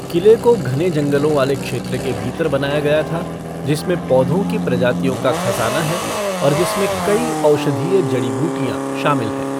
किले को घने जंगलों वाले क्षेत्र के भीतर बनाया गया था जिसमें पौधों की प्रजातियों का खज़ाना है और जिसमें कई औषधीय जड़ी बूटियाँ शामिल हैं।